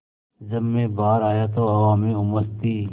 जब मैं बाहर आया तो हवा में उमस थी